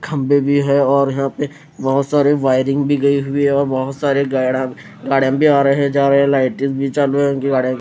खम्बे भी है और यहाँ पे बहोत सारे वायरिंग भी गई हुई है और बहोत सारे गैड़ांग गाड़म भी आ रहे हैं जा रहे हैं लाइटे भी चालू है उनकी गाड़िया --